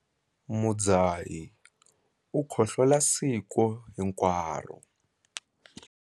Mudzahi u khohlola siku hinkwaro.